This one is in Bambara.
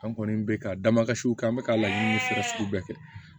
An kɔni bɛ ka dabasiw kɛ an bɛ ka laɲini siri bɛɛ kɛ